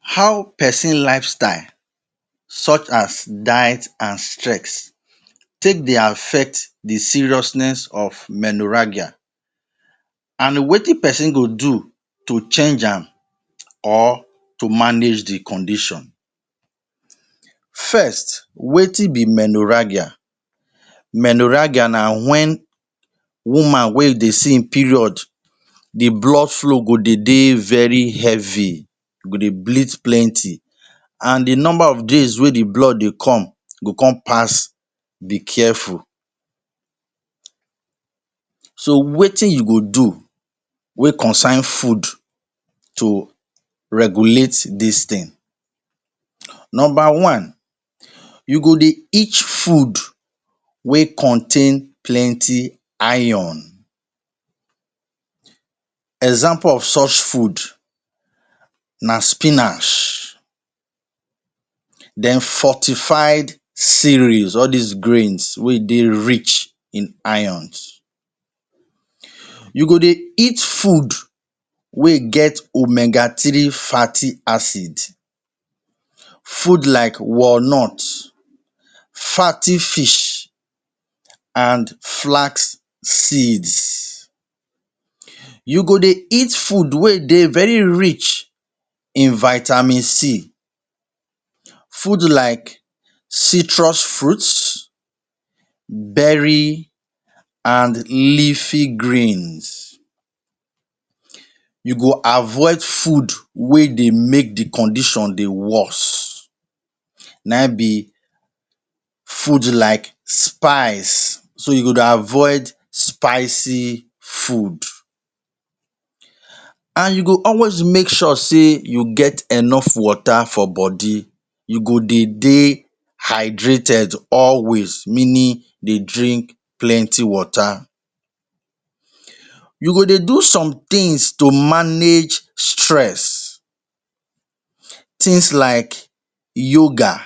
How peson lifestyle such as diet and stress take dey affect the seriousness of menorrhagia an wetin peson go do to change am or to manage the condition? First, wetin be menorrhagia? Menorrhagia na wen woman wey you dey see ein period the blood flow go dey dey very heavy, you go dey bleed plenty. An the number of days wey the blood dey come go con pass be careful. So, wetin you go do wey concern food to regulate dis tin? Nomba one, you go dey eat food wey contain plenty iron. Example of such food na spinach, then fortified cereals – all dis grains wey dey rich in irons. You go dey eat food wey get omega three fatty acid. Food like walnut, fatty fish, an flask seeds. You go dey eat food wey dey very rich in vitamin c. Food like citrus fruit, berry an leafy greens. You go avoid food wey dey make the condition dey worse. Na ein be food like spice. So, you go dey avoid spicy food. An you go always make sure sey you get enough water for body. You go dey dey hydrated always meaning dey drink plenty water. You go dey do some tins to manage stress. Tins like yoga,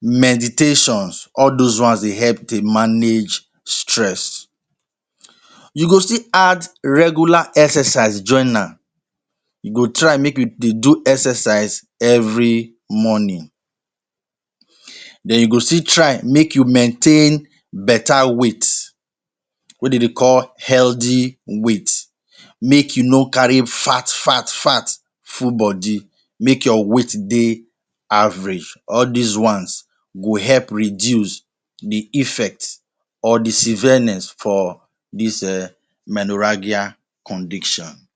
meditations – all dos ones dey help dey manage stress. You go still add regular exercise join am. You go try make you dey do exercise every morning. Then you go still try make you maintain beta weight wey de dey call healthy weight. Make you no carry fart fart fart full body. Make your weight dey average. All dis ones go help reduce the effect or the severeness for dis um menorrhagia condition.